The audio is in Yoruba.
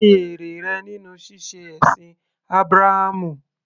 Kí ni èrè rẹ nínú ṣíṣe ẹ̀sìn Ábúráhámù?